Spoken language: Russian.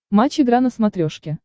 матч игра на смотрешке